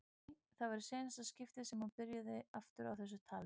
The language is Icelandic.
Nei, það var í seinna skiptið sem hún byrjaði aftur á þessu tali.